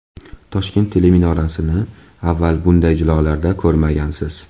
Toshkent teleminorasini avval bunday jilolarda ko‘rmagansiz!.